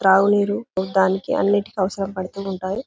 త్రాగునీరు అన్నిటికి అవసరం పడుతూ ఉంటాయి